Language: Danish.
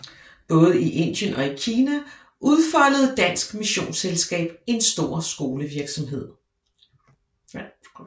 Både i Indien og i Kina udfoldede Dansk Missionsselskab en stor skolevirksomhed